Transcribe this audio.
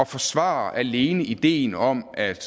forsvarer alene ideen om at